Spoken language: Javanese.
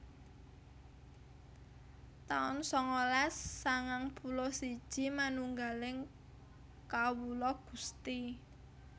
taun sangalas sangang puluh siji Manunggaling Kawula Gusti